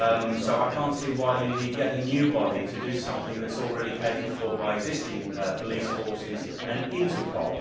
So I cannot see why you need yet another new body to do something that is already catered for by existing police forces and Interpol.